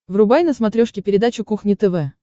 врубай на смотрешке передачу кухня тв